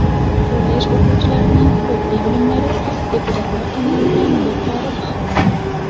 Kollej o‘quvchilarining huquqiy bilimlari deputatlar tomonidan yuqori baholandi.